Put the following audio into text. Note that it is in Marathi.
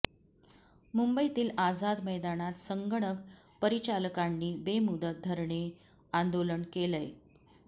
मुंबईतील आझाद मैदानात संगणक परिचालकांनी बेमुदत धरणे आंदोलन केलंय